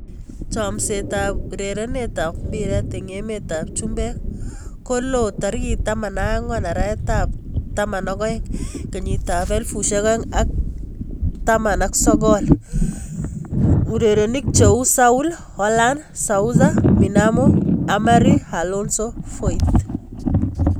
Chomset ab urerenet ab mbiret eng emet ab chumbek kolo tarikit 14.12.2019: Saul, Haaland, Sousa, Minamino, Emery, Alonso, Foyth